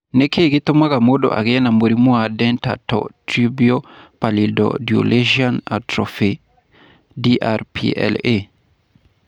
Nĩ kĩĩ gĩtũmaga mũndũ agĩe na mũrimũ wa Dentatorubral Pallidoluysian Atrophy (DRPLA)?